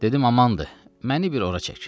Dedim amandır, məni bir ora çək.